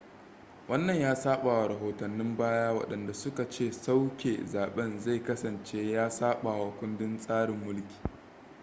wannan ya sabawa rahotannin baya wadanda suka ce sauke zaben zai kasance ya sabawa kundin tsarin mulki